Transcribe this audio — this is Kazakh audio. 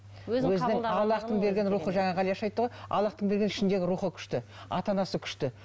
аллахтың берген рухы жаңа ғалияш айтты ғой аллахтың берген ішіндегі рухы күшті ата анасы күшті